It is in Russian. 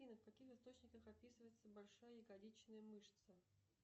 афина в каких источниках описывается большая ягодичная мышца